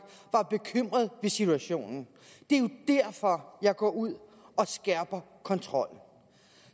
var bekymret situationen det er jo derfor jeg går ud og skærper kontrollen